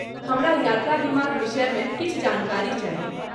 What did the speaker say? हमरा यात्रा बीमाक विषयमे किछु जानकारी चाही।